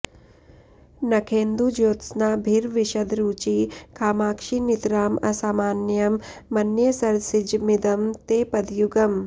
नखेन्दुज्योत्स्नाभिर्विशदरुचि कामाक्षि नितराम् असामान्यं मन्ये सरसिजमिदं ते पदयुगम्